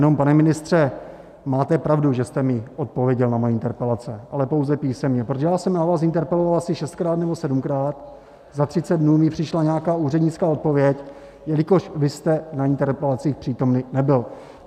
Jenom pane ministře, máte pravdu, že jste mi odpověděl na moje interpelace, ale pouze písemně, protože já jsem na vás interpeloval asi šestkrát nebo sedmkrát, za třicet dnů mi přišla nějaká úřednická odpověď, jelikož vy jste na interpelacích přítomný nebyl.